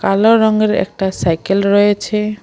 কালো রঙের একটা সাইকেল রয়েছে।